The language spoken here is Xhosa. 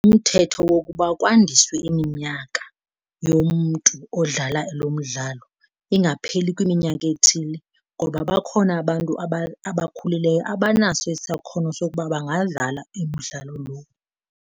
Umthetho wokuba kwandiswe iminyaka yomntu odlala lo mdlalo ingapheli kwiminyaka ethile. Ngoba bakhona abantu abakhulileyo abanaso isakhono sokuba bangadlala imidlalo lo.